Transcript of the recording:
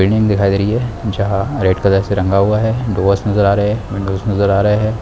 Building दिखाई दे रही है जहाँ रेड कलर से रंगा हुआ है डोर्स नज़र आ रहे है विंडोस नज़र आ रहे है।